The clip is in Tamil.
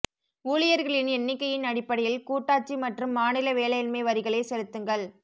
ஊழியர்களின் எண்ணிக்கையின் அடிப்படையில் கூட்டாட்சி மற்றும் மாநில வேலையின்மை வரிகளை செலுத்துங்கள்